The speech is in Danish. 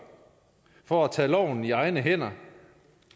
for at tage loven i egne hænder